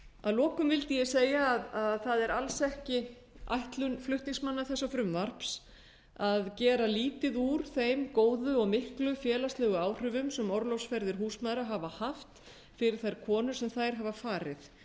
að lokum vildi ég segja að það er alls ekki ætlun flutningsmanna þessa frumvarps að gera lítið úr þeim góðu og miklu félagslegu áhrifum sem orlofsferðir húsmæðra hafa haft fyrir þær konur sem þær hafa farið